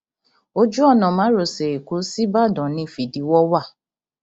ojú ọnà márosẹ ẹkọ ṣíbàdàn ní fídíwọ wà